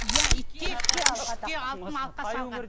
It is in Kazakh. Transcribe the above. иә итке күшікке алтын алқа салған